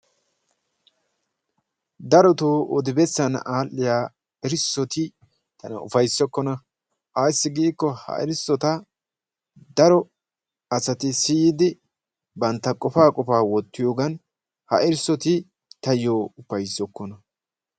Darotto oddi besanni adhiyaa erisotti tana ufassokonna ayssi giikko ha erisottaa, daro asati siyiddi banttaa qofaaa qofaa wottiyogan ha erisotti tayo ufayssokonna.